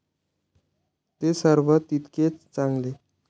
ते सर्व तितकेच चांगले.